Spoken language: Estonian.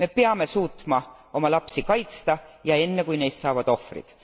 Me peame suutma oma lapsi kaitsta ja enne kui neist saavad ohvrid.